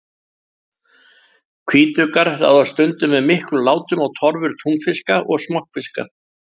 Hvítuggar ráðast stundum með miklum látum á torfur túnfiska og smokkfiska.